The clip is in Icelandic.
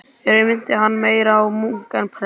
Í raun minnti hann meira á munk en prest.